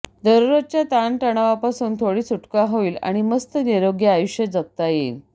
दररोजच्या ताणतणावापासून थोडी सुटका होईल आणि मस्त निरोगी आयुष्य जगता येईल